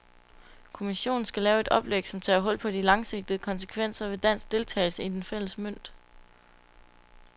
Kommissionen skal lave et oplæg, som tager hul på de langsigtede konsekvenser ved dansk deltagelse i den fælles mønt.